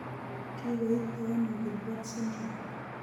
Kikoitoono Gilbert syndrome ?